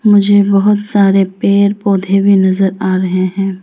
मुझे बहुत सारे पेड़ पौधे भी नजर आ रहे हैं।